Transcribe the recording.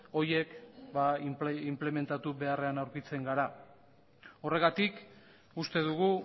horiek inplementatu beharrean aurkitzen gara horregatik uste dugu